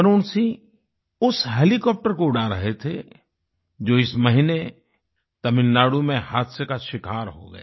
वरुण सिंह उस हेलीकॉप्टर को उड़ा रहे थे जो इस महीने तमिलनाडु में हादसे का शिकार हो गया